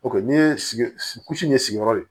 O kɛ n'i ye sigi ɲɛ sigiyɔrɔ ye